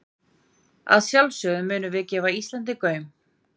Að sjálfsögðu munum við gefa Íslandi gaum.